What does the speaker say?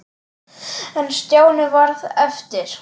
En Stjáni varð eftir.